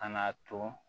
Ka na to